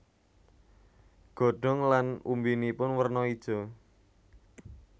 Godhong lan umbinipun werno ijo